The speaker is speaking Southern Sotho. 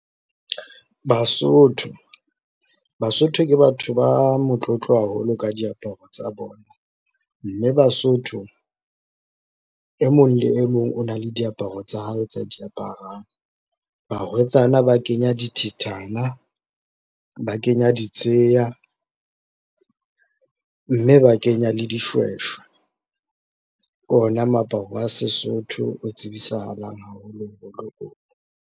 Basotho, Basotho ke batho ba motlotlo haholo ka diaparo tsa bona, mme Basotho e mong le e mong o na le diaparo tsa hae tsa diaparang. Barwetsana ba kenya dithethana, ba kenya ditsheya, mme ba kenya le dishweshwe. Ke ona moaparo wa Sesotho o tsibisahalang haholoholo oo.